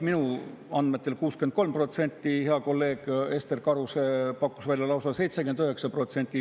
Minu andmetel on neid 63%, hea kolleeg Ester Karuse pakkus välja lausa 79%.